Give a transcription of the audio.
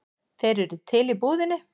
Þeir eru til í búðinni.